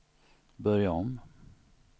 börja om